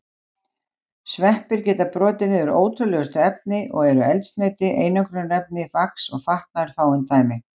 Sveppir geta brotið niður ótrúlegustu efni og eru eldsneyti, einangrunarefni, vax og fatnaður fáein dæmi.